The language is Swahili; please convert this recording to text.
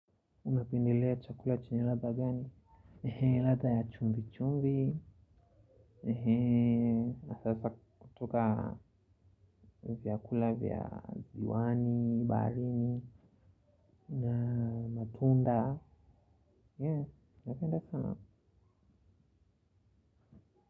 Unapendelea chakula chenye latha gani? Latha ya chumvi chumvi. Sasa kutoka vyakula vya ziwani, baharini na matunda. Yeah, napenda sana.